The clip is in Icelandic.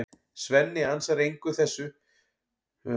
Svenni ansar þessu engu og flýtir sér inn í herbergið sitt.